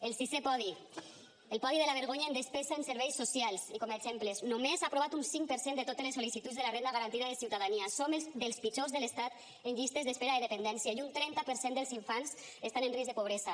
el sisè podi el podi de la vergonya en despesa en serveis socials i com a exemples només ha aprovat un cinc per cent de totes les sol·licituds de la renda garantida de ciutadania som els pitjors de l’estat en llistes d’espera de dependència i un trenta per cent dels infants estan en risc de pobresa